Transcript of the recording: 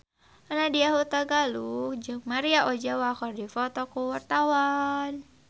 Nadya Hutagalung jeung Maria Ozawa keur dipoto ku wartawan